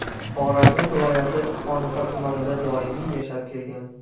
Xorazm viloyati Xonqa tumanida doimiy yashab kelgan.